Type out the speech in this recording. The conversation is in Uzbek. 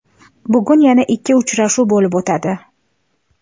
Bugun yana ikki uchrashuv bo‘lib o‘tadi.